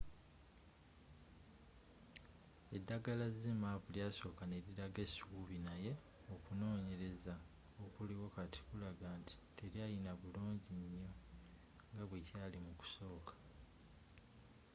eddagala zmapp lyasoka n'elilaga essuubi naye okunonyelezza okuliwo kati kulagga nti telyalina bulunginyo nga bwekyali mukusoka